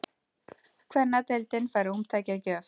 Kvennadeildin fær ómtæki að gjöf